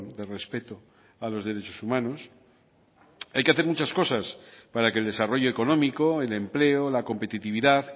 de respeto a los derechos humanos hay que hacer muchas cosas para que el desarrollo económico el empleo la competitividad